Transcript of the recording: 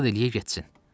Asad eləyə getsin.